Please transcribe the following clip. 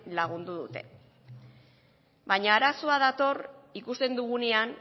lagundu dute baina arazoa dator ikusten dugunean